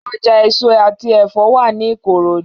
Ọjà èso àti ẹ̀fọ́ wà ní Ìkòròdú